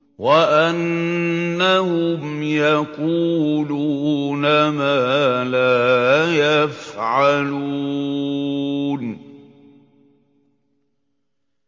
وَأَنَّهُمْ يَقُولُونَ مَا لَا يَفْعَلُونَ